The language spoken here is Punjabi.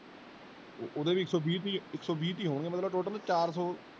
ਓਹਦੇ ਵੀ ਇਕ ਸੋ ਵੀ ਤੀ ਇਕ ਸੋ ਵੀ ਤੀ ਹੋਣਗੇ ਮਤਲਬ total ਚਾਰ ਸੋ।